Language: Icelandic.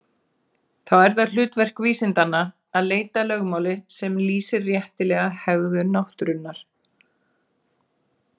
Þá er það hlutverk vísindanna að leita að lögmáli sem lýsir réttilega hegðun náttúrunnar.